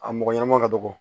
A mɔgɔ ɲɛnama ka dɔgɔ